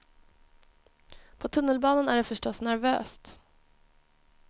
På tunnelbanan är det förstås nervöst.